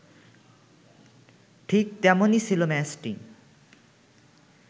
ঠিক তেমনই ছিল ম্যাচটি